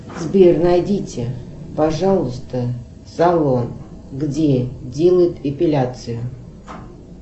сбер найдите пожалуйста салон где делают эпиляцию